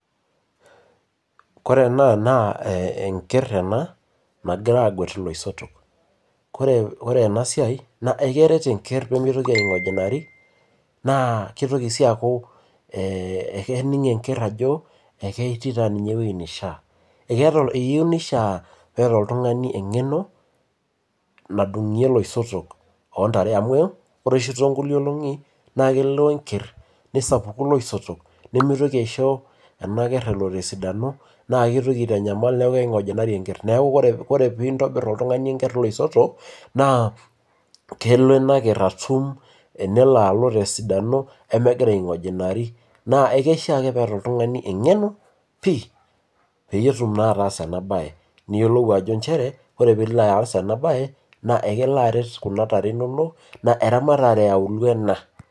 Ore ena naa enkerai ena nagirae aageut iloisotok, ore ena siai, ekeret ena nimitoki aing'ojinaro naa kitoki sii aaku evening enkerai ajo eketii taa ninye wueji, nishaa, eneyieu nishaa paa ketii taa ninye oltungani, eng'eno nadung'ie iloisotok loo ntare amu ore oshi too nkulie olong'i naa lelo enkerai nesapuku iloisotok, nimitoki aisho ena ker elo tesidano naa kitoki aitanyamal, neeku kingojinari enker, neeku ore pee intobir oltungani enkerai oloisotok naa kelo ena keer atum tenelo alo tesidano nemegira, aingojinari, naa ekwishaa ake peeta oltungani eng'eno pii peeyie etum naa ataasa ena bae, niyiolou ajo nchere, ore pee ilo aas ena bae naa ekelo aret Kuna tare inonok, naa eramatare yiaulio ena,.